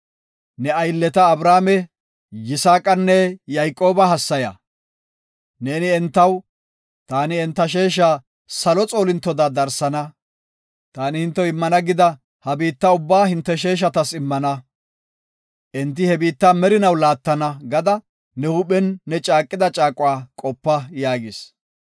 Ne aylleta Abrahaame, Yisaaqanne Yayqooba hassaya. Neeni entaw, ‘Taani hinte sheesha salo xoolintoda darsana; taani hintew immana gida ha biitta ubbaa hinte sheeshatas immana; enti he biitta merinaw laattana’ gada ne huuphen ne caaqida caaquwa qopa” yaagis.